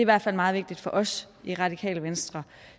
hvert fald meget vigtigt for os i radikale venstre